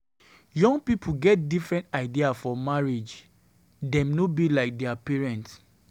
Young pipo get different idea for marriage. Dem no be like dia parents.